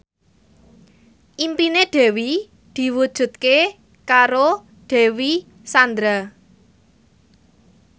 impine Dewi diwujudke karo Dewi Sandra